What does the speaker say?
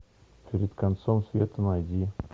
перед концом света найди